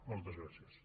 moltes gràcies